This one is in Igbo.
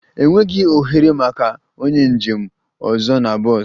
Enweghị ohere maka onye njem ọzọ na bọs